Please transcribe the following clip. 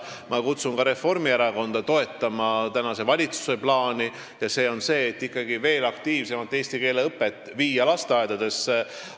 Ma kutsun ka Reformierakonda toetama tänase valitsuse plaani, et veel aktiivsemalt eesti keele õpet lasteaedadesse viia.